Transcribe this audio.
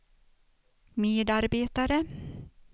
medarbetare